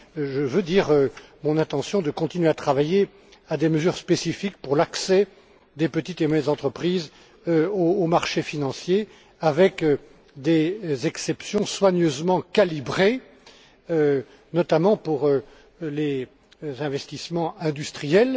Je veux dire mon intention de continuer à travailler à des mesures spécifiques pour l'accès des petites et moyennes entreprises aux marchés financiers, avec des exceptions soigneusement calibrées, notamment, pour les investissements industriels.